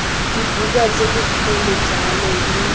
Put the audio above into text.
dibuka tse dikgolo jalo le